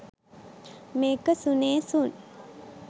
මේක සුනේ සුන්.